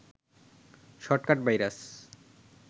shortcut virus